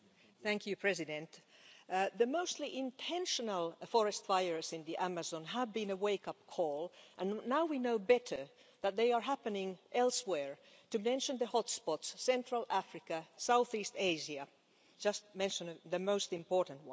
Mr President, the mostly intentional forest fires in the Amazon have been a wake up call and now we know better that they are happening elsewhere, to mention the hot spots Central Africa, South East Asia, just to mention the most important ones.